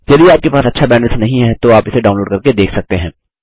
यदि आपके पास अच्छा बैंडविड्थ नहीं है तो आप इसे डाउनलोड करके देख सकते हैं